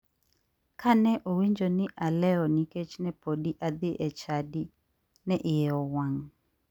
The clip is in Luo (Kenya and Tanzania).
Kane owinjo ni ne alewo nikech ne podi adhi e chadi, ne iye owang'.